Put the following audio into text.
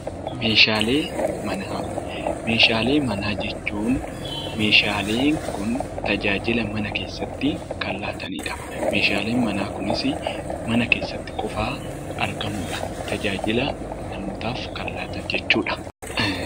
Meeshaalee manaa Meeshaalee manaa jechuun meeshaaleen kun tajaajila mana keessatti kan laatani dha. Meeshaaleen manaa kunis mana keessatti qofaa argamu dha. Tajaajila namootaaf kan laatan jechuu dha.